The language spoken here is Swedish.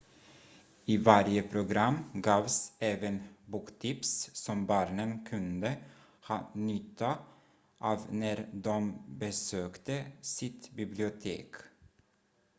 i varje program gavs även boktips som barnen kunde ha nytta av när de besökte sitt bibliotek